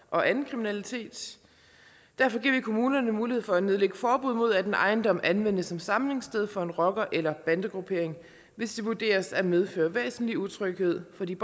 og anden kriminalitet derfor giver vi kommunerne mulighed for at nedlægge forbud mod at en ejendom anvendes som samlingssted for en rocker eller bandegruppering hvis det vurderes at medføre væsentlig utryghed for de